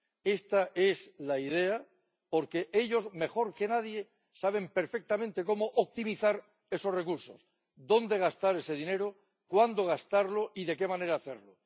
Esta es la idea, porque ellos mejor que nadie saben perfectamente cómo optimizar esos recursos, dónde gastar ese dinero, cuándo gastarlo y de qué manera hacerlo.